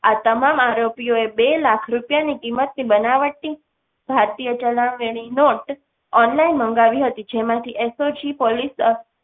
આ તમામ આરોપીઓ ને બે લાખ ની કિંમત ની બનાવટી ભારતીય ચલણી નોટ online મંગાવી હતી. જેમાંથી એસ ઓ જી પોલીસ